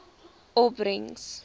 opbrengs